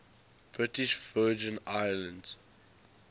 british virgin islands